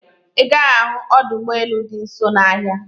Ị gaghị ahụ ọdọ ụgbọelu dị nso n'ahia